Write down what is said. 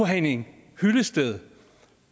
henning hyllested